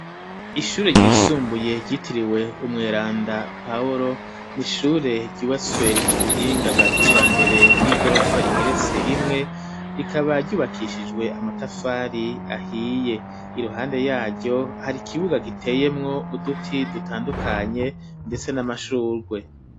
Ishure ryisumbuye ryitiriwe Umweranda Paworo, n'ishure ryubatswe mu buhinga bwa kijambere bw'igorofa igeretse rimwe ,rikaba ryubakishijwe amatafari ahiye, iruhande yaryo har, ikibuga giteyemwo uduti dutandukanye ndetse n'amashurwe.